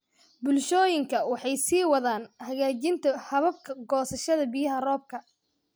Bulshooyinka waxay sii wadaan hagaajinta hababka goosashada biyaha roobka.